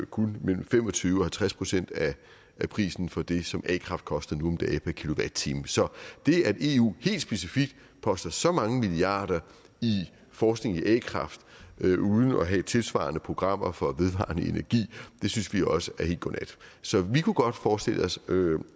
kun mellem fem og tyve og halvtreds procent af prisen for det som a kraft koster nu om dage per kilowatt time så det at eu helt specifikt poster så mange milliarder i forskning i a kraft uden at have tilsvarende programmer for vedvarende energi synes vi også er helt godnat så vi kunne godt forestille os